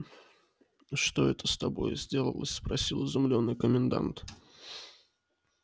что это с тобою сделалось спросил изумлённый комендант